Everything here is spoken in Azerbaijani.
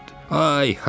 Ay-hay!